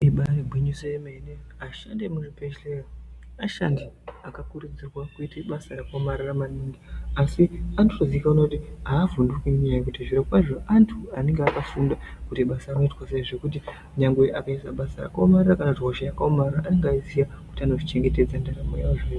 Ibari gwinyiso remene vashandi vemuzvibhedhlera vashandi akakuridzirwa kuite basa rakaomara maningi asi anotozikanwa kuti havhunduki ngenyaya yekuti antu anenge akafunda kuti basa rinoitwa sei nyangwe akaite hosha rakaomara anenge eyiziva kuti anonga ezvichengetedza ndaramo yavo.